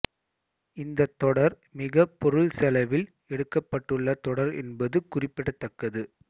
இந்த தொடர் மிக பொருள் செலவில் எடுக்கப்படுள்ள தொடர் என்பது குறிப்பிடத்தக்கது